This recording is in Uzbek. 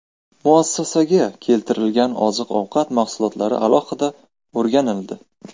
Muassasaga keltiriladigan oziq-ovqat mahsulotlari alohida o‘rganildi.